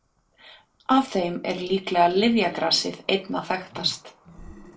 af þeim er líklega lyfjagrasið einna þekktast